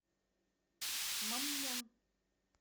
маммон